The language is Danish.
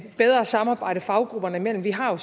bedre samarbejde faggrupperne imellem vi har jo